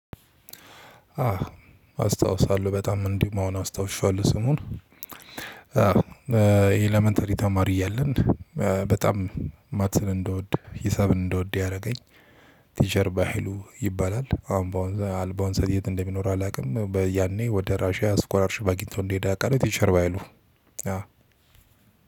አስታውሳለሁ በጣም እንዲሁም አሁን አስታውሻዋለሁ ስሙን ይሄ ኤለመንተሪ ተማሪ እያለን በጣም ማትስ እንደወድ ሂሳብን እንድወድ ያደረገኝ ቲቸር ባሃይሉ ይባላል። አሁን በአሁኑ ሰዓት የት? እንደሚኖር አላውቅም። ያኔ ወደ ራሺያ ስኮላርሽ አግኝቶ እንዲሄድ አውቃለሁ። ቲቸር ባሃይሉ አዎ